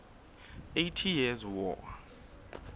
eighty years war